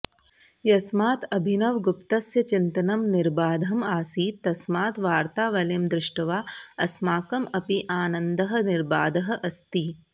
यस्मात् अभिनवगुप्तस्य चिन्तनं निर्बाधम् आसीत् तस्मात् वार्तावलीं दृष्ट्वा अस्माकम् अपि आनन्दः निर्बाधः अस्ति